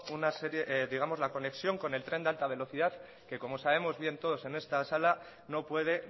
una conexión con el tren de alta velocidad que como sabemos bien todos en esta sala no puede